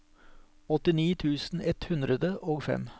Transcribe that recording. åttini tusen ett hundre og fem